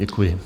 Děkuji.